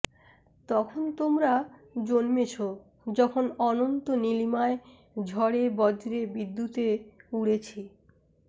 তখন তোমরা জন্মেছো যখন অনন্ত নীলিমায় ঝড়ে বজে বিদ্যুতে উড়েছি